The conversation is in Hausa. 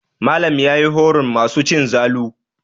Malam ya yi horon masu cin zalu.